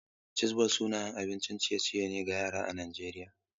Chizbol sanannen abincin ciye-ciye ne ga yara a Najeriya.